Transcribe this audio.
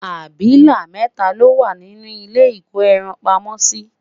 abilà mẹta lowa nínú ilé iko ẹran pamó si